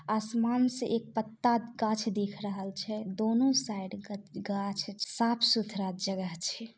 आसमान से एक पत्ता गाछ दिख रहल छै दोनों साइड ग गाछ साफ-सुथरा जगह छै।